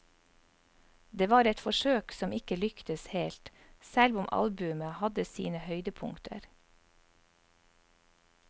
Det var et forsøk som ikke lyktes helt, selv om albumet hadde sine høydepunkter.